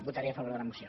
votaré a favor de la moció